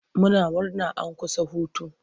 Muna murna an kusa hutu.